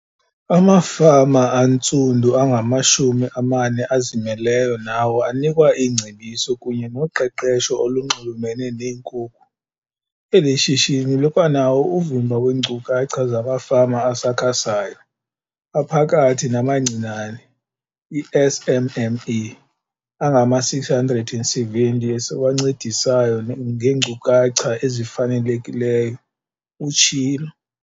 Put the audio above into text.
Amafama antsundu angamashumi amane azimeleyo nawo anikwa iingcebiso kunye noqeqesho olunxulumene neenkukhu. Eli shishini likwanawo uvimba weenkcukacha zamafama asakhasayo, aphakathi namancinane i-SMME angama-670 esiwancedisayo ngeenkcukacha ezifanelekileyo, utshilo.